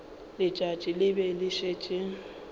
letšatši le be le šetše